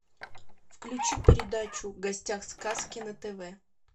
включи передачу в гостях сказки на тв